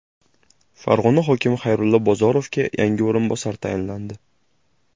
Farg‘ona hokimi Xayrullo Bozorovga yangi o‘rinbosar tayinlandi.